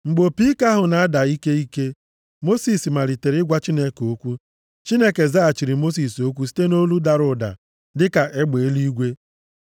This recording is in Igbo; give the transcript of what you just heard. Mgbe opi ike ahụ na-ada ike ike, Mosis malitere ịgwa Chineke okwu. Chineke zaghachiri Mosis okwu site nʼolu dara ụda dịka egbe eluigwe.